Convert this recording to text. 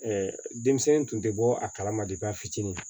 denmisɛnnin tun tɛ bɔ a kalama de fitinin